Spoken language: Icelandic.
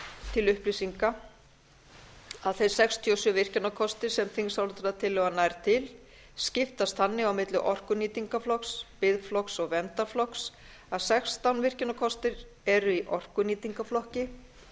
til upplýsinga að þær sextíu og sjö virkjunarkostir sem þingsályktunartillagan nær til skiptast þannig á milli orkunýtingarflokks biðflokks og verndarflokks að sextán virkjunarkostir eru í orkunýtingarflokki